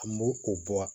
An b'o o bɔ